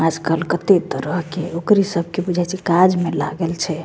आजकल कते तरह के ओकरे सब के बुझा छे काज में लागल छे।